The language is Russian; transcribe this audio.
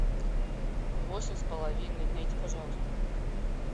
восемь с половиной найди пожалуйста